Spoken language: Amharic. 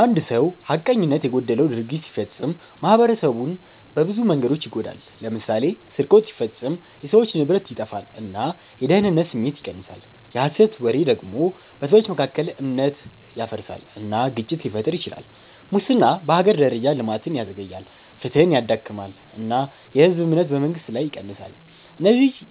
አንድ ሰው ሐቀኝነት የጎደለው ድርጊት ሲፈጽም ማኅበረሰቡን በብዙ መንገዶች ይጎዳል። ለምሳሌ ስርቆት ሲፈጸም የሰዎች ንብረት ይጠፋል እና የደህንነት ስሜት ይቀንሳል። የሐሰት ወሬ ደግሞ በሰዎች መካከል እምነት ያፈርሳል እና ግጭት ሊፈጥር ይችላል። ሙስና በሀገር ደረጃ ልማትን ያዘግያል፣ ፍትሕን ያዳክማል እና የህዝብ እምነትን በመንግስት ላይ ይቀንሳል። እነዚህን